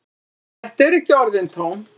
Þetta eru ekki orðin tóm.